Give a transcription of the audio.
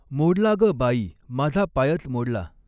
मोडला गं बाई, माझा पायच मोडला!